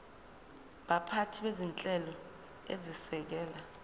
baphathi bezinhlelo ezisekela